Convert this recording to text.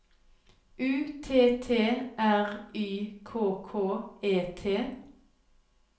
U T T R Y K K E T